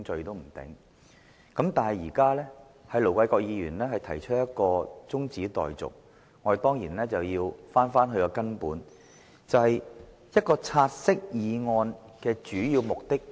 然而，鑒於盧議員動議將"察悉議案"的辯論中止待續，我們當然要回到根本，了解"察悉議案"的主要目的為何。